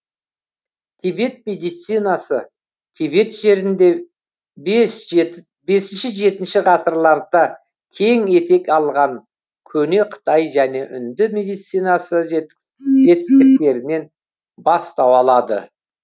тибет медицинасы тибет жерінде бесінші жетінші ғасырларда кең етек алған көне қытай және үнді медицинасы жетістіктерінен бастау алады